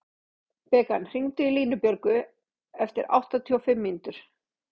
Bekan, hringdu í Línbjörgu eftir áttatíu og fimm mínútur.